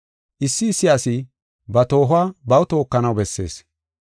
Issi issi asi ba toohuwa baw tookanaw bessees.